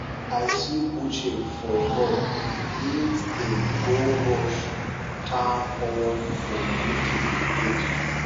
i see uche for road he dey go rush town hall for meeting we get